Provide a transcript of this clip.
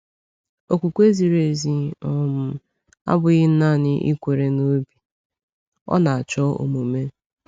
Okwukwe ziri ezi um abụghị naanị ikwere n’obi — ọ na-achọ omume.